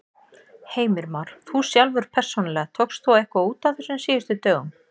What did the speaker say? Heimir Már: Þú sjálfur persónulega, tókst þú eitthvað út á þessum síðustu dögum?